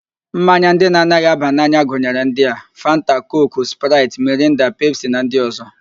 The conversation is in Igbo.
Mmanya ndị na-anaghị aba n'anya gụnyere ndị a: Fanta, Kooku, Spraịt, Mirinda, Pepsi na ndị ọzọ